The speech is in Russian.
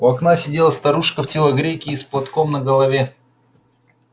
у окна сидела старушка в телогрейке и с платком на голове